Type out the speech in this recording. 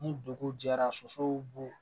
Ni dugu jɛra sosow b'u